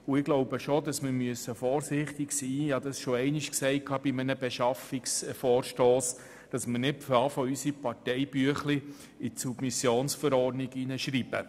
Wie ich schon einmal im Rahmen eines Beschaffungsvorstosses gesagt habe, sollten wir vorsichtig sein und unsere Parteibüchlein nicht in die Submissionsverordnung hineinschreiben.